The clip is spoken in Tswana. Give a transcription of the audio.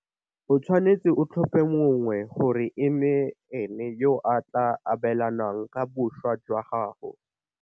O tshwanetse o tlhope mongwe gore e nne ene yo a tla abelanang ka boswa jwa gago.